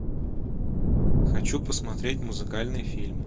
хочу посмотреть музыкальный фильм